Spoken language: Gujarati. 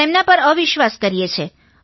તેમના પર અવિશ્વાસ કરીએ છીએ